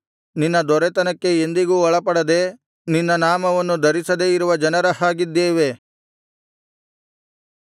ನಿನ್ನ ದೊರೆತನಕ್ಕೆ ಎಂದಿಗೂ ಒಳಪಡದೆ ನಿನ್ನ ನಾಮವನ್ನು ಧರಿಸದೆ ಇರುವ ಜನರ ಹಾಗಿದ್ದೇವೆ